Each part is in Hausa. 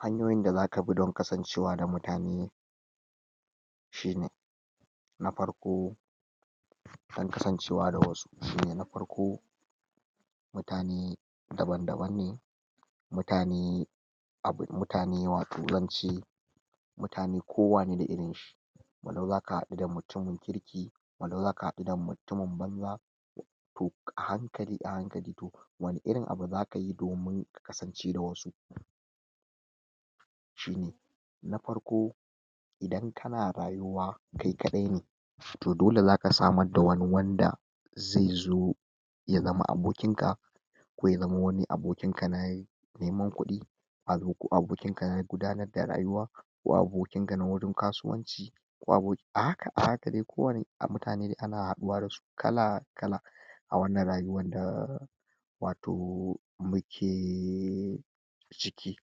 Hanyoyin da zaka bi don kasancewa da mutane shine na parko, dan kasancewa da wasu shine na parko mutane daban-daban ne mutane abune mutane wato zance mutane kowa ne da irin shi walau zaka haɗu da mutumin kirki walau zaka haɗu da mutumin banza toh a hankali a hankali wani irin abu za kayi domin ka kasance da wasu shine na parko idan kana rayuwa kai kaɗai toh dole zaka samar da wani wanda zai zo ya zama abokin ka ko ya zamo wani abokin ka na neman kuɗi ko abokin ka na dudanar da rayuwa ko abokin ka na wurin kasuwanci ko aboki a haka a haka dai ko wani a mutane ana haɗuwa dasu kala-kala a wannan rayuwan na wato mukeee ciki.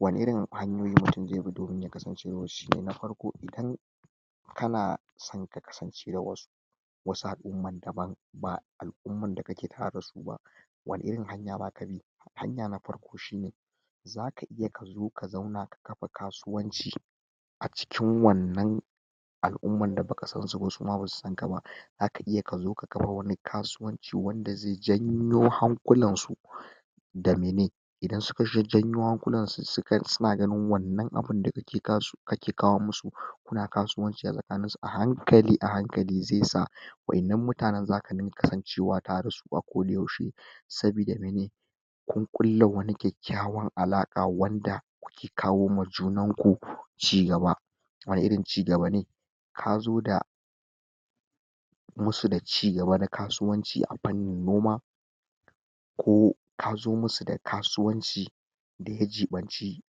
Wani irin hanyoyi mutum ze bi domin ya kasance da wasu? Na parko idan kana san ka kasance da wasu wasu al'uman daban ba al'uman da kake tareda su ba wani irin hanya zaka bi hanya na parko shine; zaka iya kazo ka zauna kabi kasuwanci a cikin wannan al'umman da baka sansu ba suma basu sanka ba zaka iya kazo ka kapa wani kasuwanci wanda ze janyo hankulan su dalilai idan suka janyo hankulansu suka suna ganin wannan abin daga ke kake kawo musu kuna kasuwanci a tsakanin su a hankali a hankali ze sa wa'innan mutanan zaka dinga kasancewa tare da su a koda yaushe sabida mene? kun ƙulla wani kyakyawan alaƙa wanda kuke kawo ma junanku cigaba cigaba ne kazo da musu da cigaba da kasuwanci a pannin noma ko kazo musu da kasuwanci daya ciɓanci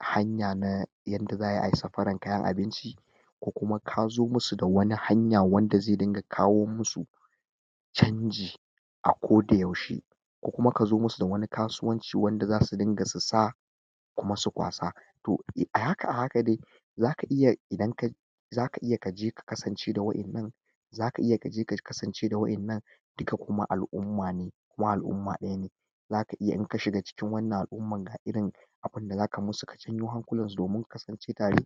hanya na yadda za'ayi ayi safaran kayan abinci ko kuma kazo musu da wani hanya wanda ze dinga kawo musu canji a koda yaushe ko kuma kazo musu da wani kasuwanci wanda zasu dinga su sa kuma su kwasa toh a haka a haka dai zaka iya idan ka zaka iya ka je ka kasance da wa'innan zaka iya kaje ka kasance da wa'innan duka kuma al'umma ne kuma al'umma ɗaya ne zaka iya inka shiga cikin wannan al'umman ka irin abinda zaka musu ka janyo hankulansu domin ku kasance tare